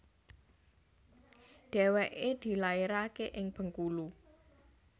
Dèwèké dilaeraké ing Bengkulu